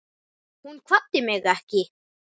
Hún kvaddi mig ekki.